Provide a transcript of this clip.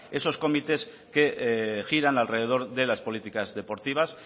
esos comités que giran alrededor de las políticas deportivas